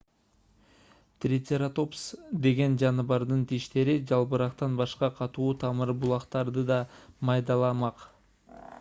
трицератопс деген жаныбардын тиштери жалбырактан башка катуу тамыр бутактарды да майдаламак